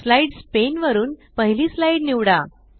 slides pane वरुन पहिली slide निवडा